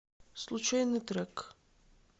случайный трек